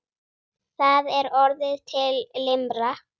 Það er orðin til limra!